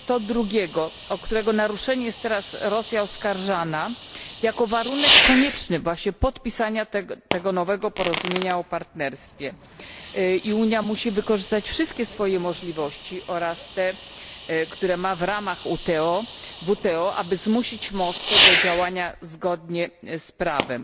102, o którego naruszenie jest teraz Rosja oskarżana, jako warunek konieczny podpisania nowego porozumienia o partnerstwie. Unia musi wykorzystać wszystkie swoje możliwości oraz te, które ma w ramach WTO, aby zmusić Moskwę do działania zgodnie z prawem.